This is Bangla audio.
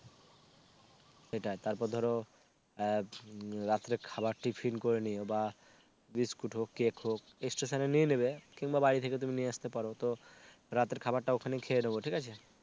সেটাই তারপর ধরো রাত্রে খাবার tiffin করে নিও বা বিস্কুট হক কেক হোক Station এ নিয়ে নেবে কিংবা বাড়ি থেকে তুমি নিয়ে আসতে পারো তো রাতের খাবারটা ওখানেই খেয়ে নেব ঠিক আছে